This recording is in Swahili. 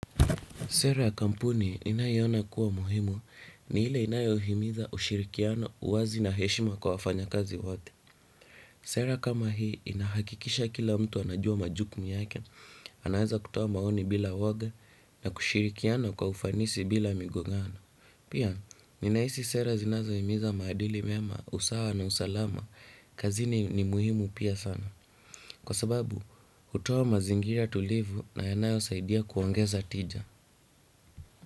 Sera ya kampuni ninaiona kuwa muhimu ni ile inayohimiza ushirikiano uwazi na heshima kwa wafanyakazi wote. Sera kama hii inahakikisha kila mtu anajua majukumu yake, anaeza kutoa maoni bila woga na kushirikiana kwa ufanisi bila migongano. Pia, ninaisi sera zinazohimiza maadili mema, usawa na usalama, kazini ni muhimu pia sana. Kwa sababu, hutoa mazingira tulivu na yanayosaidia kuongeza tija.